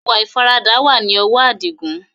Ìwà ìfaradà wá ní ọwọ adigun